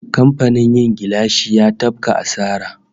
Kamfanin yin gilashi ya tafka asara